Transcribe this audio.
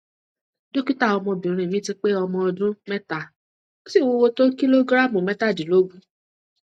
dókítà ọmọbìnrin mi ti pé ọmọ ọdún mẹta ó sì wúwo tó kìlógíráàmù mẹtàdínlógún